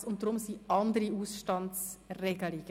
Deshalb gelten andere Ausstandsregelungen.